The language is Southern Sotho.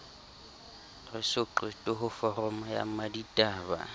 re soqete ho foroma mmaditaba